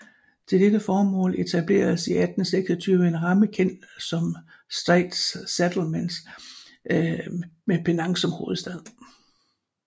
Til dette formål etableredes i 1826 en ramme kendt som Straits Settlements med Penang som hovedstad